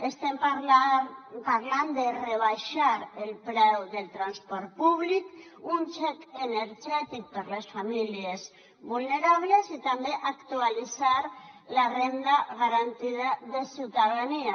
estem parlant de rebaixar el preu del transport públic un xec energètic per a les famílies vulnerables i també actualitzar la renda garantida de ciutadania